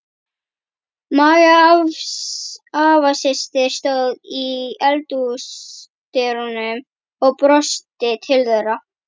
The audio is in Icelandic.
Magga afasystir stóð í eldhúsdyrunum og brosti til þeirra.